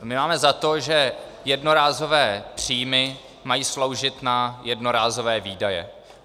My máme za to, že jednorázové příjmy mají sloužit na jednorázové výdaje.